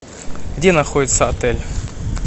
где находится отель